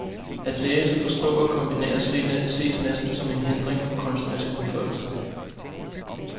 At læse, forstå og kombinere ses næsten som en hindring for kunstnerisk udfoldelse.